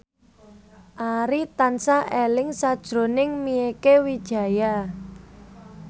Arif tansah eling sakjroning Mieke Wijaya